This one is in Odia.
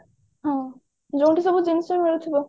ହଁ ଯୋଉଠୁ ସବୁ ଜିନିଷ ମିଳୁଥିବ